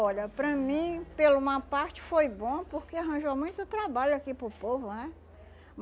Olha, para mim, pelo uma parte, foi bom porque arranjou muito trabalho aqui para o povo, né?